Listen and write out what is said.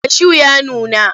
Kashu ya nuna.